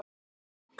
Spenni bogann.